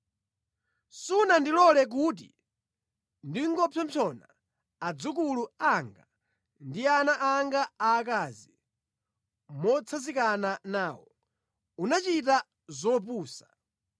Sunandilole kuti ndingopsompsona adzukulu anga ndi ana anga aakazi motsanzikana nawo. Unachita zopusa.